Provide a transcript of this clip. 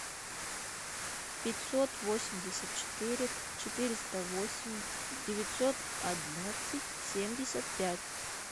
пятьсот восемьдесят четыре четыреста восемь девятьсот одиннадцать семьдесят пять